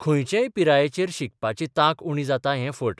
खंयचेच पिरायेचेर शिकपाची तांक उणी जाता हैं फट.